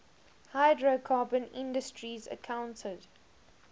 hydrocarbon industries accounted